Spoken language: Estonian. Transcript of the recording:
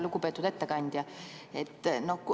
Lugupeetud ettekandja!